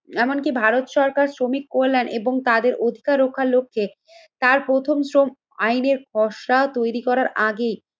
এমনকি ভারত সরকার শ্রমিক কল্যাণ এবং তাদের অধিকার রক্ষার লক্ষ্যে তার প্রথম শ্রম আইনের খসড়া তৈরি করার আগেই